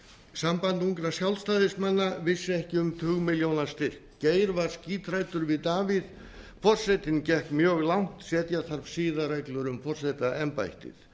samband ungra sjálfstæðismanna vissi ekki um tugmilljónastyrk geir var skíthræddur við davíð forsetinn gekk mjög langt setja þarf siðareglur um forsetaembættið